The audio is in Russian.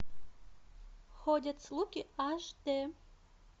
ходят слухи аш дэ